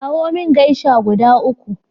Kawo min geisha guda uku.